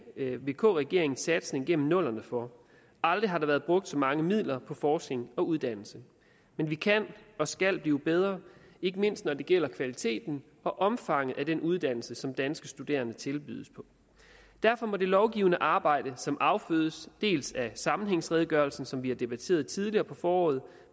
vk regeringens satsning gennem nullerne for aldrig har der været brugt så mange midler på forskning og uddannelse men vi kan og skal blive bedre ikke mindst når det gælder kvaliteten og omfanget af den uddannelse som danske studerende tilbydes derfor må det lovgivende arbejde som affødes dels af sammenhængsredegørelsen som vi har debatteret tidligere på foråret